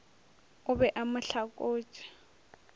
o be a mo hlakotše